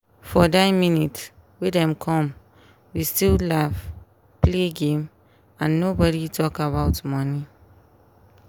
for die minute wey dem come we still laugh play game and nobody talk about money.